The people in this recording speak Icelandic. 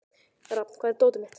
Rafn, hvar er dótið mitt?